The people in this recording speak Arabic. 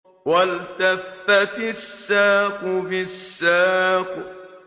وَالْتَفَّتِ السَّاقُ بِالسَّاقِ